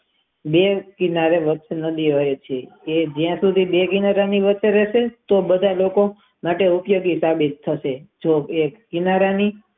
બે કિનારે લક્સ મૂડી આવ્યું છે એ જ્યાં સુધી બની રેસે તે બાથ લોકો માટે ઉપયોગી બનશે જે એક કિનારા ની.